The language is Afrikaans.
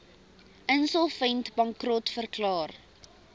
insolvent bankrot verklaar